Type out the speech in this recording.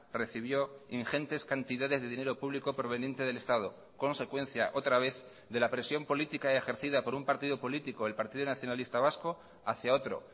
recibió ingentes cantidades de dinero público proveniente del estado consecuencia otra vez de la presión política ejercida por un partido político el partido nacionalista vasco hacia otro